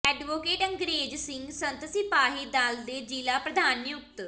advocate Angrez Singh Sant Sipahi Dal ਦੇ ਜ਼ਿਲ੍ਹਾ ਪ੍ਰਧਾਨ ਨਿਯੁਕਤ